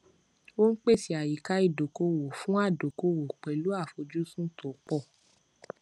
ó ń pèsè àyíká ìdókòòwò fún adókòwò pẹlú àfojúsùn tó pọ